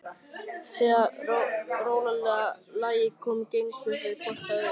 Þegar rólega lagið kom gengu þau hvort að öðru.